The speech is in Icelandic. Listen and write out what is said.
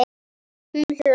Hún hló.